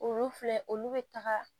Olu filɛ olu bɛ taga